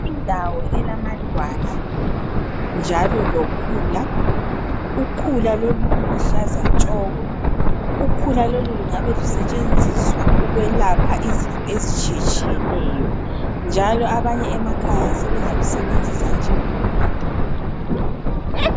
Indawo elamadwala njalo lokhula. Ukhula lolu luluhlaza tshoko. Ukhula lolu lungabe lusetshenziswa ukwelapha izifo ezitshiyetshiyeneyo, njalo abanye emakhaya sebengalusebenzisa njengombhida.